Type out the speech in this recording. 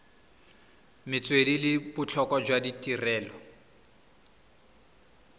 metswedi le botlhokwa jwa tirelo